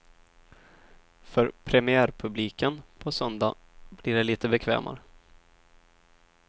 För premiärpubliken på söndag blir det lite bekvämare.